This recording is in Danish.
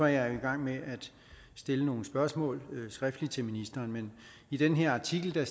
jeg i gang med at stille nogle spørgsmål skriftligt til ministeren men i den her artikel